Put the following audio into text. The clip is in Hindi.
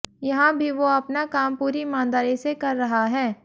यहां भी वो अपना काम पूरी ईमानदारी से कर रहा है